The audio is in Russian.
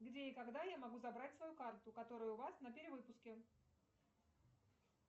где и когда я могу забрать свою карту которая у вас на перевыпуске